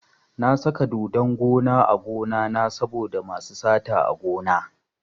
Na saka dodon gona a gonana saboda masu sata a gona.